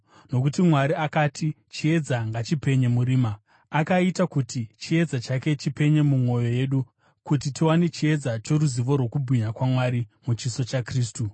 Nokuti Mwari akati, “Chiedza ngachipenye murima,” akaita kuti chiedza chake chipenye mumwoyo yedu kuti tiwane chiedza choruzivo rwokubwinya kwaMwari muchiso chaKristu.